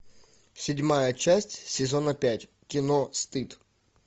седьмая часть сезона пять кино стыд